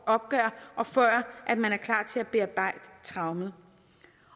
opgør og før man er klar til at bearbejde traumet